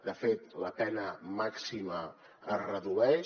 de fet la pena màxima es redueix